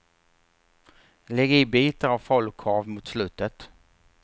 Lägg i bitar av falukorv mot slutet.